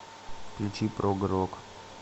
включи прог рок